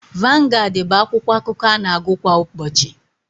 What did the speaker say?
Vangaad bụ akwụkwọakụkọ ana-agụ kwa ụbọchị.